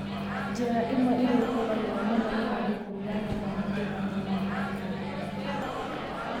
Njĩra ĩmwe ĩrĩa ĩhũthagĩrũo mũno nĩ andũ kũruga nyama nĩ kũiga nyama nyama-inĩ cia ng'ombe.